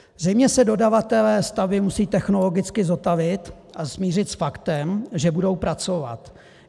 Zřejmě se dodavatelé stavby musí technologicky zotavit a smířit s faktem, že budou pracovat.